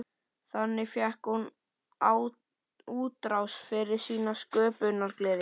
Þannig fékk hún útrás fyrir sína sköpunargleði.